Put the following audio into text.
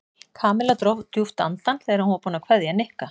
Kamilla dró djúpt andann þegar hún var búin að kveðja Nikka.